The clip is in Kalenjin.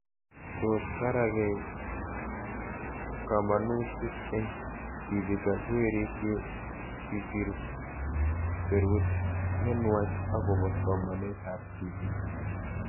Tos karakei kamanatuik eng' tipik ak werik ye kisir serut nenuach akopo somanet ab tipik